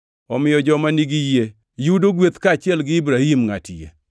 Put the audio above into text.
Omiyo joma nigi yie yudo gweth kaachiel gi Ibrahim ngʼat yie.